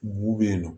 Bugu be yen nɔ